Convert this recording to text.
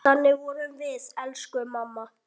Þannig vorum við, elsku mamma.